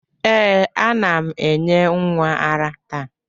Ee, a na m enye nwa ara taa.